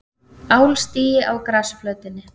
Álstigi á grasflötinni.